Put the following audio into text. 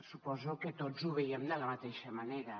suposo que tots ho veiem de la mateixa manera